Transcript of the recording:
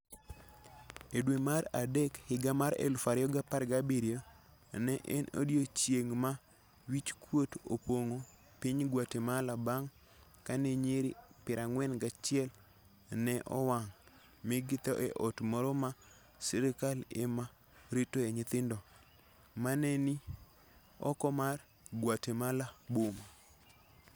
E dwe mar Mach 2017, ne en odiechieng' ma wich kuot opong'o piny Guatemala bang ' kane nyiri 41 ne owang ' mi githo e ot moro ma sirkal ema ritoe nyithindo, ma ne ni oko mar Guatemala boma.